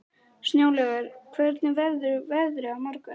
Snjólaugur, hvernig verður veðrið á morgun?